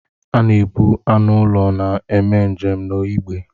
A na ebu anụ ụlọ na-eme njem n'igbe.